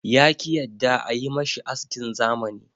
Ya ki yadda a yi mashi askin zamani.